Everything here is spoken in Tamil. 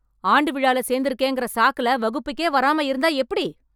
ஆண்டுவிழால சேர்ந்துருக்கறேங்கற சாக்குல வகுப்புக்கே வராம இருந்தா எப்டி?